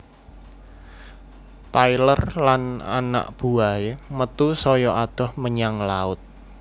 Taylor lan anak buwahé metu saya adoh menyang laut